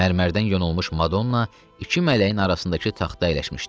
Mərmərdən yonulmuş Madonna iki mələyin arasındakı taxta əyləşmişdi.